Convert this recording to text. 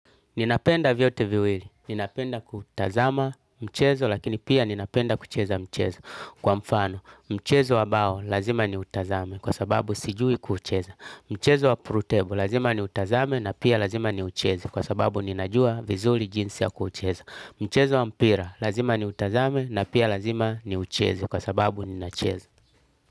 Ninapenda vyote viwili. Ninapenda kutazama mchezo lakini pia ninapenda kucheza mchezo. Kwa mfano, mchezo wa bao lazima niutazame kwa sababu sijui kuucheza. Mchezo wa pool table lazima niutazame na pia lazima niucheze kwa sababu ninajua vizuri jinsi ya kuucheza. Mchezo wa mpira lazima niutazame na pia lazima niucheze kwa sababu ninacheza.